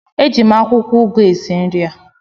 Eji m akwụkwọ ụgụ esi nri a